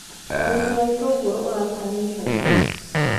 ũrĩmi wa ĩtũngũru ũrakũra na ihenya.